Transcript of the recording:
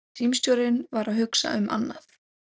Símstjórinn var að hugsa um annað.